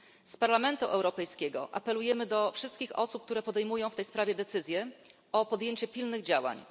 Z Parlamentu Europejskiego apelujemy do wszystkich osób, które podejmują w tej sprawie decyzje, o podjęcie pilnych działań.